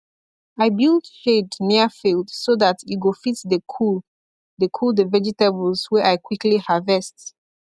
i build shade near field so that e go fit dey cool dey cool the vegetables wey i quickly harvest